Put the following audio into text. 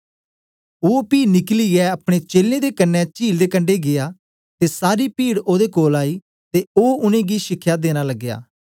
ओ पी निकलिऐ अपने चेलें दे कन्ने चील दे कंडे गीया ते सारी पीड ओदे कोल आई ते ओ उनेंगी शिखया देना लगया